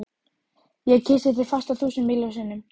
Ég kyssi þig fast, þúsund miljón sinnum.